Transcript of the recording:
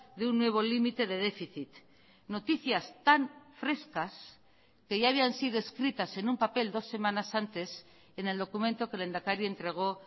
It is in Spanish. de un nuevo límite de déficit noticias tan frescas que ya habían sido escritas en un papel dos semanas antes en el documento que el lehendakari entregó